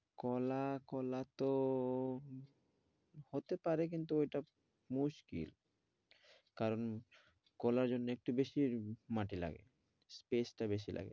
কলা কলা তো ও হতেপারে কিন্তু ওইটা মুশকিল কারণ কলার জন্য একটু বেশি মাটি লাগে peace টা বেশি লাগে জায়গা টা আরও